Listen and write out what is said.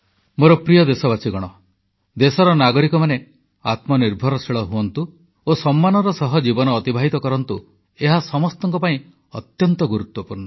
ମୋର ପ୍ରିୟ ଦେଶବାସୀ ଦେଶର ନାଗରିକମାନେ ଆତ୍ମନିର୍ଭରଶୀଳ ହୁଅନ୍ତୁ ଓ ସମ୍ମାନର ସହ ଜୀବନ ଅତିବାହିତ କରନ୍ତୁ ଏହା ସମସ୍ତଙ୍କ ପାଇଁ ଅତ୍ୟନ୍ତ ଗୁରୁତ୍ୱପୂର୍ଣ୍ଣ